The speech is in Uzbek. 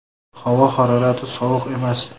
Havo harorati sovuq emas.